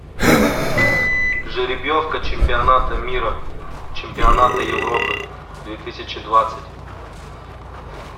жеребьевка чемпионата мира чемпионата европы две тысячи двадцать